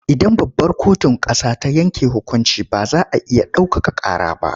Idan babbar kotun ƙasa ta yanke hukunci ba za a iya ɗaukaka ƙara ba.